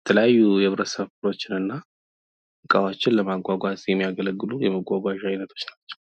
የተለያዩ የህብረተሰብ ክፍሎችን እና እቃዎችን ለማጓጓዝ የሚያገለግሉ የመጓጓዣ አይነቶች ናቸው።